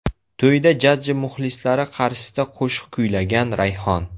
To‘yda jajji muxlislari qarshisida qo‘shiq kuylagan Rayhon.